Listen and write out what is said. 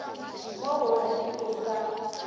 mo go ref o sa